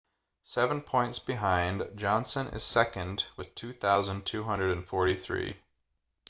seven points behind johnson is second with 2,243